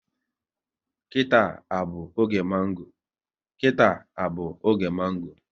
Kita à bụ oge mango?